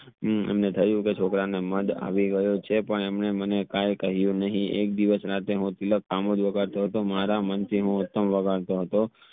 હમ એમને થયું કે છોકરા ને મદ આવી ગયો છે પણ એમને મને કાઇ કહ્યું નહીં એક દિવસ હું રાત્રે હું તિલક મારા મન થી હું ઉત્તમ વાગડતો હતો